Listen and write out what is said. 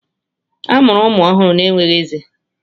A mụrụ ụmụ ọhụrụ na-enweghị ezé.